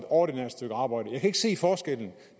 ordinært arbejde jeg kan ikke se forskellen